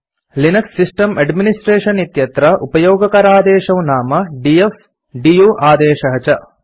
Linux system administration इत्यत्र उपयोगकरादेशौ नाम डीएफ आदेशः दु आदेशः च